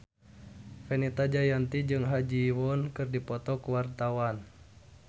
Fenita Jayanti jeung Ha Ji Won keur dipoto ku wartawan